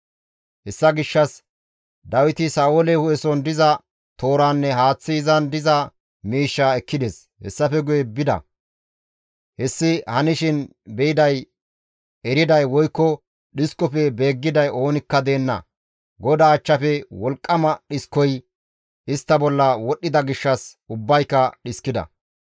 Hessa gishshas Dawiti Sa7oole hu7eson diza tooranne haaththi izan diza miishshaa ekkides; hessafe guye bida; hessi hanishin be7iday, eriday woykko dhiskofe beeggiday oonikka deenna. GODAA achchafe wolqqama dhiskoy istta bolla wodhdhida gishshas ubbayka dhiskida.